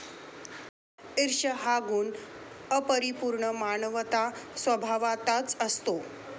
ईर्ष्या हा गुण अपरिपूर्ण मानवांत स्वभावतःच असतो.